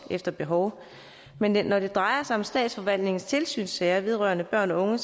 efter behov men når det drejer sig om statsforvaltningens tilsynssager vedrørende børn og unge